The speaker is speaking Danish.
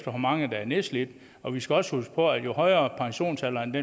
hvor mange der er nedslidte og vi skal også huske på at jo højere pensionsalderen